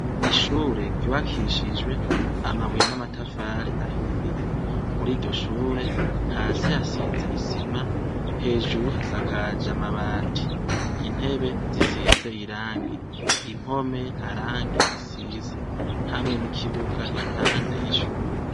Ishure giwakishijwe amabuye n'amatafare ahiye muri iryo shure hasi hasize isima hejuru hasakaje amabati intebe zisize irangi impome nta rangi zisize hamwe n'ikibuga iruhande y'ishure.